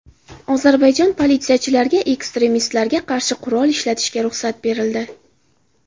Ozarbayjon politsiyachilariga ekstremistlarga qarshi qurol ishlatishga ruxsat berildi .